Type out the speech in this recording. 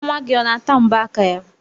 Nwa gị ọ na-ata mbọ aka ya?